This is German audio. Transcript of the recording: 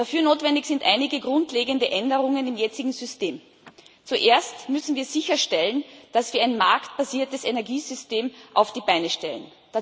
Dafür notwendig sind einige grundlegende Änderungen im jetzigen System Zuerst müssen wir sicherstellen, dass wir ein marktbasiertes Energiesystem auf die Beine stellen.